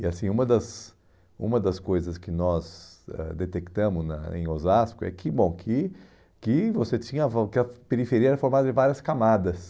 E assim, uma das uma das coisas que nós ãh detectamos na em Osasco é que bom que que você tinha, que a periferia era formada em várias camadas.